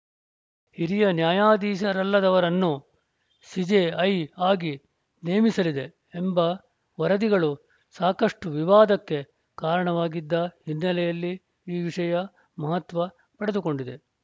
ಹಿರಿಯ ನ್ಯಾಯಾಧೀಶರಲ್ಲದವರನ್ನು ಸಿಜೆಐ ಆಗೆ ನೇಮಿಸಲಿದೆ ಎಂಬ ವರದಿಗಳು ಸಾಕಷ್ಟುವಿವಾದಕ್ಕೆ ಕಾರಣವಾಗಿದ್ದ ಹಿನ್ನೆಲೆಯಲ್ಲಿ ಈ ವಿಷಯ ಮಹತ್ವ ಪಡೆದುಕೊಂಡಿದೆ